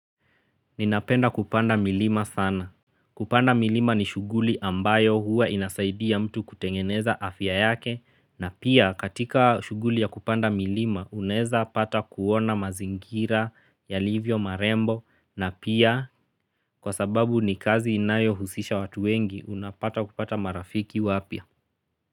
Ninapenda kupanda milima sana. Kupanda milima ni shughuli ambayo huwa inasaidia mtu kutengeneza afya yake na pia katika shughuli ya kupanda milima unaeza pata kuona mazingira yalivyo marembo na pia kwa sababu ni kazi inayohusisha watu wengi unapata kupata marafiki wapya.